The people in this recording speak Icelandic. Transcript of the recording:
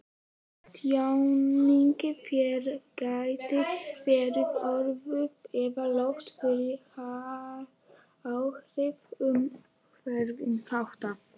Tjáning þeirra gæti verið örvuð eða lött fyrir áhrif umhverfisþátta.